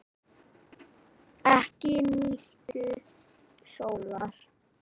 Ekki nýtur sólar.